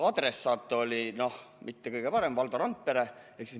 Adressaat oli, noh, mitte kõige parem: Valdo Randpere.